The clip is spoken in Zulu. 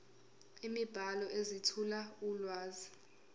imibhalo ezethula ulwazi